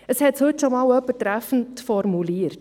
Dies hat heute schon einmal jemand treffend formuliert: